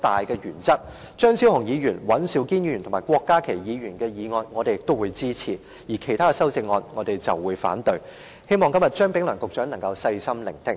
對於張超雄議員、尹兆堅議員及郭家麒議員的修正案，我們均會支持，而其他修正案，我們則會反對，希望今天張炳良局長能細心聆聽。